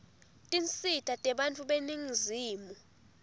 tinsita tebantfu beningizimu